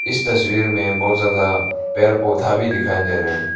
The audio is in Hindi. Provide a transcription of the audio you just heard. इस तस्वीर में बहोत ज्यादा पेर पौधा भी दिखाई दे रहा है।